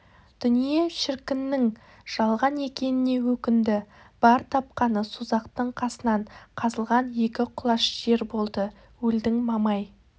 дүние шіркіннің жалған екеніне өкінді бар тапқаны созақтың қасынан қазылған екі құлаш жер болды өлдің мамай